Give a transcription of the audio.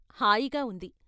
హాయిగా ఉంది.